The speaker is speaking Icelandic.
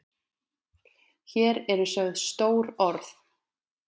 Hér eru sögð stór orð.